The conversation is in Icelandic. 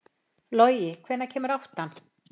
Logi, hvenær kemur áttan?